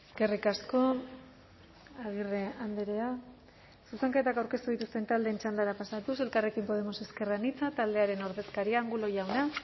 eskerrik asko agirre andrea zuzenketak aurkeztu dituzten taldeen txandara pasatuz elkarrekin podemos ezker anitza taldearen ordezkaria angulo jauna